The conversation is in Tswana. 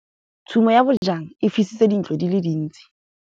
Tshumô ya bojang e fisitse dintlo di le dintsi.